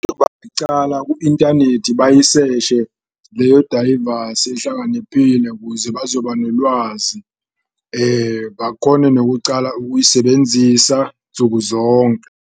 Ku-inthanethi bayiseshe leyo dayivasi ehlakaniphile kuze bazoba nolwazi, bakone nakucala ukuyisebenzisa nsukuzonke.